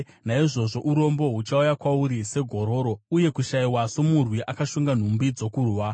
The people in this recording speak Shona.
Naizvozvo urombo huchauya kwauri segororo, uye kushayiwa somurwi akashonga nhumbi dzokurwa.